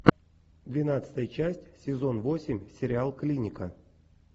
двенадцатая часть сезон восемь сериал клиника